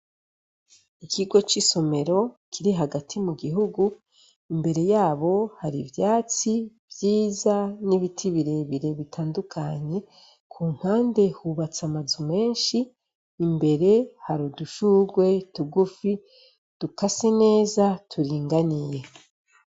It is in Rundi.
Ikigo c' isomero kiri hagati mu gihugu, imbere yaho har' ivyatsi vyiza n' ibiti birebire bitandukanye, kumpande hubats' amazu menshi, imbere har' udushurwe tugufi dukase neza turinganiye.